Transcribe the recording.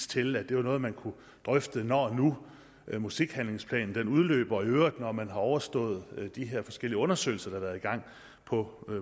til at det var noget man kunne drøfte når nu musikhandlingsplanen udløber og i øvrigt når man har overstået de her forskellige undersøgelser der har været i gang på